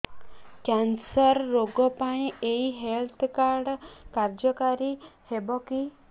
cancer ରୋଗ ପାଇଁ ଏଇ ହେଲ୍ଥ କାର୍ଡ କାର୍ଯ୍ୟକାରି ହେବ କି